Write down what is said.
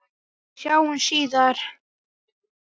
Sjáumst síðar!